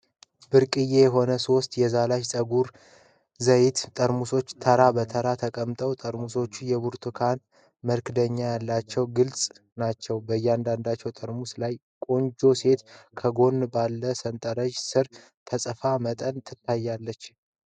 ብርቅዬ የሆኑ ሶስት የዛላሽ ፀጉር ዘይት ጠርሙሶች ተራ በተራ ተቀምጠዋል። ጠርሙሶቹ የብርቱካን መክደኛ ያላቸውና ግልፅ ናቸው። በእያንዳንዱ ጠርሙስ ላይ ቆንጆ ሴት ከጎኑ ባለው ሰንጠረዥ ስር የተፃፈ መጠን ይታያል።